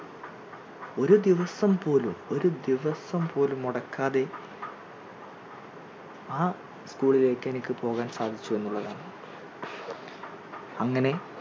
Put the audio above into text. ഒരു ദിവസം പോലും ഒരു ദിവസം പോലും മുടക്കാതെ ആ school ലേക്ക് എനിക്ക് പോകാൻ സാധിച്ചു എന്നുള്ളതാണ് അങ്ങനെ